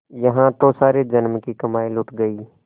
यहाँ तो सारे जन्म की कमाई लुट गयी